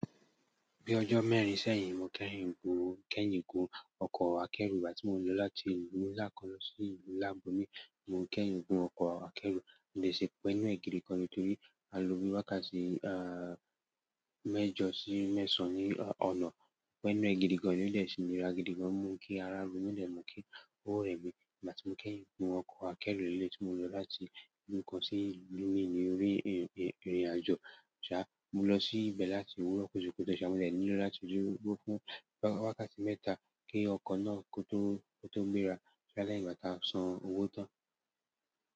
Bí ọjọ́ mẹ́rin sẹ́yìn mo kẹ́yìǹ gùn ọkọ̀ akẹ́ro nígbà tí mo lọ láti ìlú ńlá kan lọ sí ìlú ńlá ibomí mo kẹ́yìǹ gùn ọkọ̀ akẹ́ro mo de ṣi pẹ inù è gìdìgàn torí a lo bi wákàtí mẹ́jọ sí mẹ́sàn-án ní ọ̀nà. Pẹ inú è gìdìgàn ní ó dè ṣi nira gìdìgàn o mú kí ará ro mi o dè mu kí ó rẹ́ mi nígbàtí mo kẹ́yìǹ gùn ọkọ̀ akẹ́ro ni eleyii tí mo lọ láti ìlú kan sí ìlú mìí ní orí ìrìnàjò. Mo lọ sí ibẹ̀ láti òwúrọ̀ kùtùkùtù mo dè nílò láti dúró fún wákàtí mẹ́ta kí ọkọ̀ náà kó tó gbéra à boya lẹ́yìn ígbà tí a san owó tán.